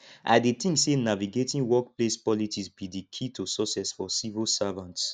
i dey think say navigating workplace politics be di key to success for civil servants